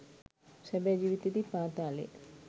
සැබෑ ජීවිතයේදී පාතාලයේ